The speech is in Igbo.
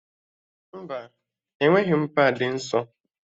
Mba, enweghị m paadị nsọ